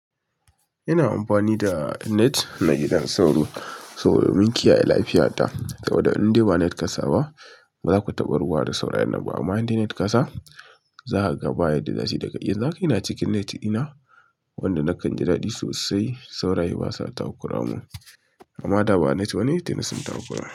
Ina amfani da net na gidan sauro, sauro domin kiyaye lafiyarta. Saboda in dai ba net ƙasa ba, ba za ku taɓa ruwa da sauron nan ba. Amma in dai net ƙa sa, za a ga bayar da zashi daga iyalan ku. Ina cikin net ina wanda na kan ji dadi sosai, sauraye basa takura mun. Amma da ba net bane, tene sun takura.